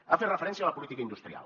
ha fet referència a la política industrial